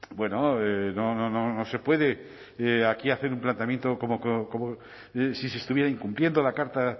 bueno no se puede aquí hacer un planteamiento como si se estuviera incumpliendo la carta